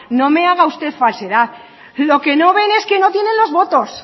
no me haga usted falsedad lo que no ven es que no tienen los votos